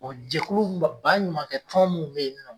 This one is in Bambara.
jɛkulu m bɔ ba ɲumankɛ tɔn mun be yen nɔ